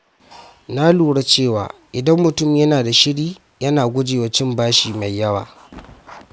Na lura cewa idan mutum yana da shiri, yana gujewa cin bashi mai yawa.